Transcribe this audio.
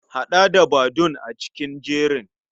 Haɗa da Badun a cikin jerin.